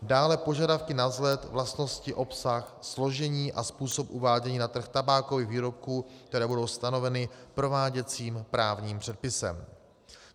Dále požadavky na vzhled, vlastnosti, obsah, složení a způsob uvádění na trh tabákových výrobků, které budou stanoveny prováděcím právním předpisem.